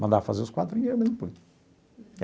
Mandava fazer os quadrinhos, eu mesmo punha.